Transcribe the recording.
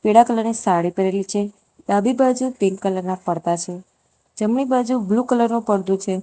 પીળા કલરની સાડી પહેરેલી છે ડાબી બાજુ પિંક કલરના પડદા છે જમણી બાજુ બ્લુ કલરનો પડદુ છે.